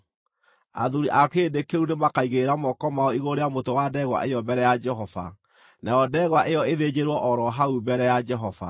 Athuuri a kĩrĩndĩ kĩu nĩmakaigĩrĩra moko mao igũrũ rĩa mũtwe wa ndegwa ĩyo mbere ya Jehova, nayo ndegwa ĩyo ĩthĩnjĩrwo o ro hau mbere ya Jehova.